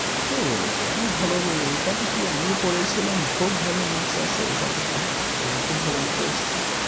কে বলেছে? অনেক ভালো বই। ওইটা দেখেই আমিও পড়েছিলাম। খুব ভালো marks আসে ওইটা থেকে আর খুব ভালো অঙ্ক এসছে।